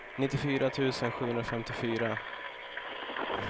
nittiofyra tusen sjuhundrafemtiofyra